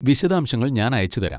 വിശദാംശങ്ങൾ ഞാൻ അയച്ചുതരാം.